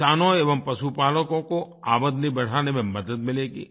किसानों एवं पशुपालकों को आमदनी बढ़ाने में मदद मिलेगी